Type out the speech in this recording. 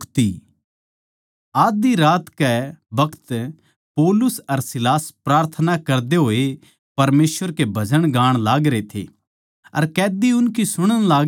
आध्धी रात कै बखत पौलुस अर सीलास प्रार्थना करदे होए परमेसवर के भजन गाण लागरे थे अर कैदी उनकी सुणन लागरे थे